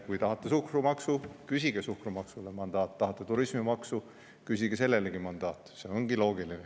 Kui tahate suhkrumaksu, küsige suhkrumaksule mandaat, tahate turismimaksu, küsige sellelegi mandaat, see ongi loogiline.